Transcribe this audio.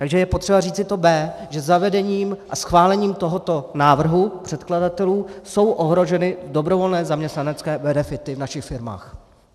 Takže je potřeba říci to "b", že zavedením a schválením tohoto návrhu předkladatelů jsou ohroženy dobrovolné zaměstnanecké benefity v našich firmách.